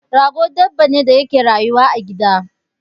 Rago dabba ne da yake rayuwa a gida